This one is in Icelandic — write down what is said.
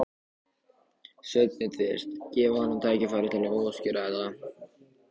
Sveinbjörn fyrst, gefa honum tækifæri til að útskýra þetta.